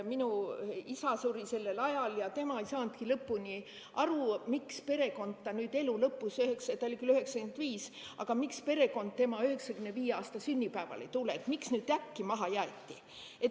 Minu isa suri sellel ajal ja tema ei saanudki lõpuni aru, miks perekond nüüd ta elu lõpus – ta oli 95 –, et miks perekond tema 95 aasta sünnipäevale ei tule, et miks ta nüüd äkki maha jäeti.